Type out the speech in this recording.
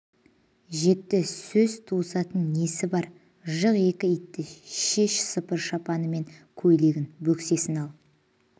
жетті сөз тауысатын несі бар жық екі итті шеш сыпыр шапаны мен көйлегін бөксесін ал